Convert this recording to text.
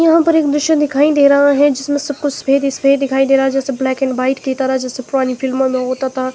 यहां पर एक मिशन दिखाई दे रहा है जिसमें सब कुछ सफेद ही सफेद दिखाई दे रहा जैसे ब्लैक एंड वाइट की तरह जैसे पुरानी फिल्मों में होता था।